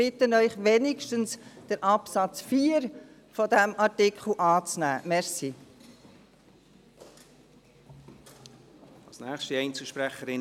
Ich bitte Sie, wenigstens den Absatz 4 dieses Artikels anzunehmen.